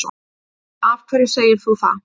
Af hverju segir þú það?